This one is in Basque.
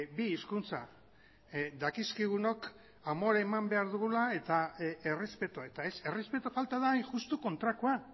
bi hizkuntza dakizkigunok amore eman behar dugula eta errespetua eta ez errespetu falta da hain justu kontrakoa